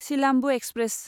Silambu express